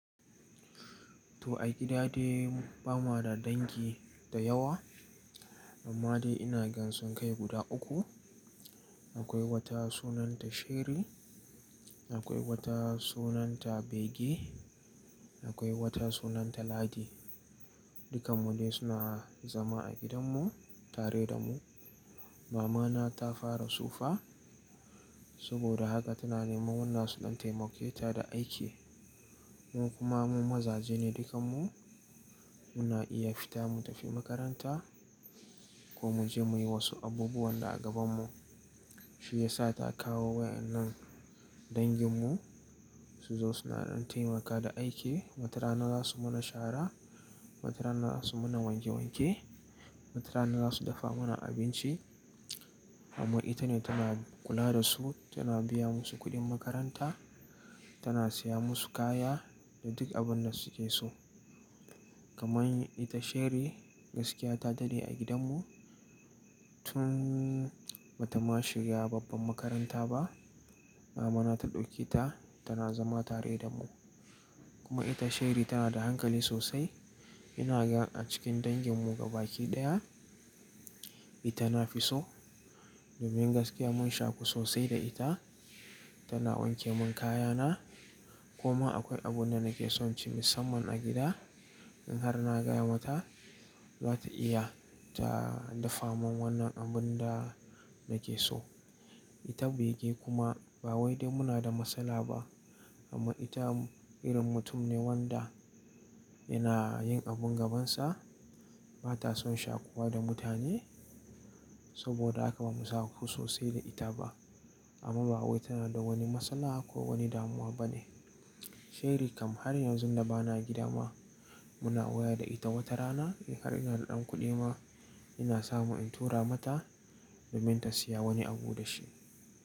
To a gida dai bama da dangi da yawa, amma dai inagansu kai guda uku. Akwai wata sunanta Sherry, akwai wata sunanta Beggy, akwai wata sunanta Ladi. Dukkan mu dai suna zama a gidanmu tare damu. Mamana ta fara tsufa, saboda haka tana neman wanda zasu ɗan taimaketa da aiki. Mu kuma mu mazajene dukkan mu, muna iya fita mu tafi makaranta komuje muyi wasu abubuwan da a gabanmu. Shiyasa ta kawo wa'yannan danginmu suzo suna ɗan taimaka da aiki. Wata rana zasu mana shara, wata rana zasu mana wanke wanke, wata rana zasu dafa mana abinci. Amma itane tana kula dasu, tana biya musu kuɗin makaranta, tana siya musu kaya da duk abunda suke so. Kamar ita Sherry gaskiya ta dade a gidanmu tun batama shiga babban makaranta ba. Mamana ta ɗauke ta tana zama tare damu. Kuma ita Sherry tana da hankali sosai. Ina gan a cikin danginmu gaba ɗaya ita nafiso domin gaskiya mun shaku sosai da ita. Tana wanke mun kayana. Kuma akwai abunda nake sonci musamman a gida, in har na gaya mata zata iya ta dafa mun wannan abunda nakeso. Ita Beggy kuma ba wai dai muna da matsala ba amma ita irin mutum ne wanda yana yin abun gabansa. Bata son shakuwa da mutane saboda haka ba mu shaku sosai da ita ba. Amma ba wai tana da wani matsala ko wani damuwa bane. Sherry kam har yanzun da bana gidama, muna waya da ita. Wata rana in har ina da ɗan kuɗi ma ina samu in tura mata domin ta siya wani abu da shi.